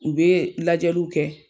U bɛ lajɛliw kɛ.